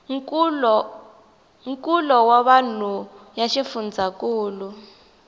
nkulo wa vanhu ya xifundzhankulu